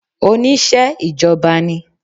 Onise ìjọba ni